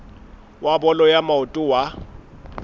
wa bolo ya maoto wa